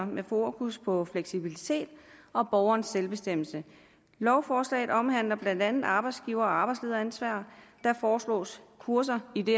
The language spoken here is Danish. med fokus på fleksibilitet og borgerens selvbestemmelse lovforslaget omhandler blandt andet arbejdsgiver og arbejdslederansvar der foreslås kurser i det